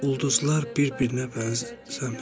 Ulduzlar bir-birinə bənzəmir.